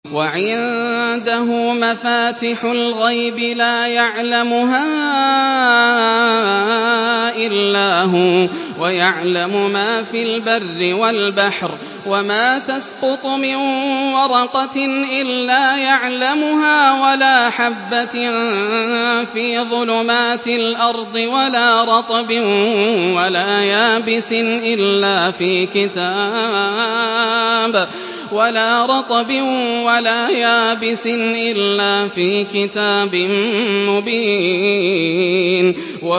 ۞ وَعِندَهُ مَفَاتِحُ الْغَيْبِ لَا يَعْلَمُهَا إِلَّا هُوَ ۚ وَيَعْلَمُ مَا فِي الْبَرِّ وَالْبَحْرِ ۚ وَمَا تَسْقُطُ مِن وَرَقَةٍ إِلَّا يَعْلَمُهَا وَلَا حَبَّةٍ فِي ظُلُمَاتِ الْأَرْضِ وَلَا رَطْبٍ وَلَا يَابِسٍ إِلَّا فِي كِتَابٍ مُّبِينٍ